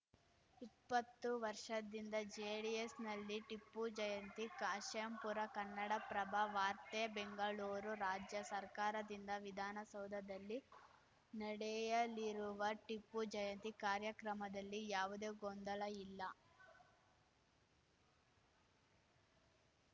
ಇಪ್ಪತ್ತು ವರ್ಷದಿಂದ ಜೆಡಿಎಸ್‌ನಲ್ಲಿ ಟಿಪ್ಪು ಜಯಂತಿ ಕಾಶೆಂಪುರ ಕನ್ನಡಪ್ರಭ ವಾರ್ತೆ ಬೆಂಗಳೂರು ರಾಜ್ಯ ಸರ್ಕಾರದಿಂದ ವಿಧಾನಸೌಧದಲ್ಲಿ ನಡೆಯಲಿರುವ ಟಿಪ್ಪು ಜಯಂತಿ ಕಾರ್ಯಕ್ರಮದಲ್ಲಿ ಯಾವುದೇ ಗೊಂದಲ ಇಲ್ಲ